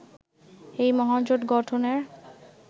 এই মহাজোট গঠনের